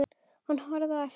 Hann horfði á eftir þeim.